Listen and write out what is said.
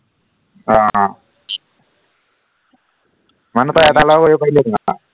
আহ মানুহ পাই এটা লৰা কৰিব পাৰিলিহেঁতেন আৰু